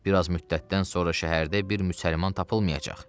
Bir az müddətdən sonra şəhərdə bir müsəlman tapılmayacaq.